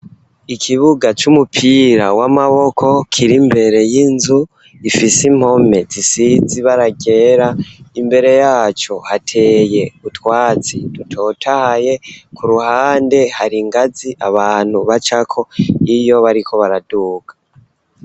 Ikibuga c'umupira w'amaboko kiri imbere y'inzu ifise impome zisizi baragera imbere yaco hateye utwatsi dutotahaye ku ruhande hari ingazi abantu bacako iyo bariko baraduka.